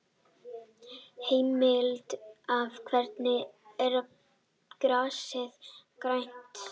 Heimild: Af hverju er grasið grænt?